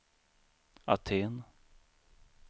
Aten